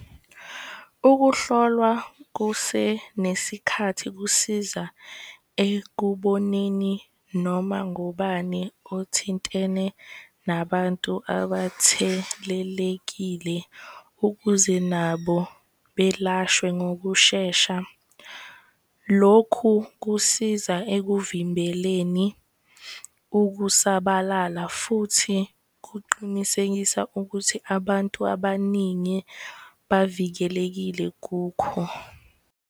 Ukuhlolwa kusenesikhathi kusiza ekuboneni noma ngubani othintene nabantu abathelelekile ukuze nabo belashwe ngokushesha. Lokhu kusiza ekuvimbeleni ukusabalala futhi kuqinisekisa ukuthi abantu abaningi bavikelekile kukho.